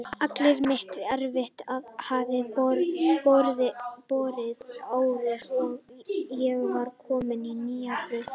Allt mitt erfiði hafði borið árangur og ég var komin á nýja braut.